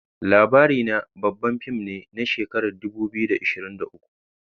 LABARINA babban fim ne na shekarar 2023